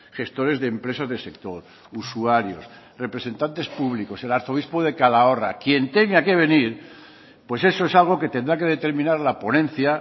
gestores de empresas del sector usuarios representantes públicos el arzobispo de calahorra quien tenga que venir pues eso es algo que tendrá que determinar la ponencia